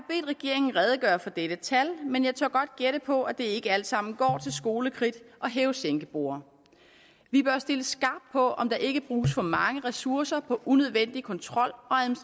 regeringen redegøre for dette tal men jeg tør godt gætte på at det ikke alt sammen går til skolekridt og hæve sænke borde vi bør stille skarpt på om der ikke bruges for mange ressourcer på unødvendig kontrol